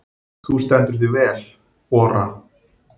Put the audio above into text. Þú stendur þig vel, Ora!